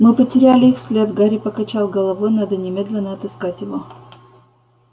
мы потеряли их след гарри покачал головой надо немедленно отыскать его